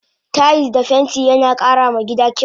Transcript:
Tayis da fenti yana kara ma gida kyau